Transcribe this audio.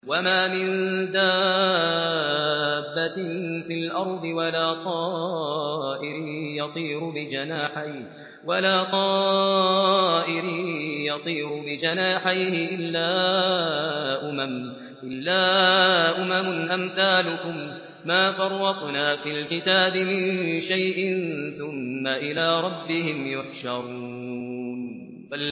وَمَا مِن دَابَّةٍ فِي الْأَرْضِ وَلَا طَائِرٍ يَطِيرُ بِجَنَاحَيْهِ إِلَّا أُمَمٌ أَمْثَالُكُم ۚ مَّا فَرَّطْنَا فِي الْكِتَابِ مِن شَيْءٍ ۚ ثُمَّ إِلَىٰ رَبِّهِمْ يُحْشَرُونَ